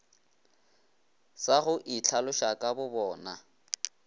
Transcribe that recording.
sa go itlhaloša ka bobona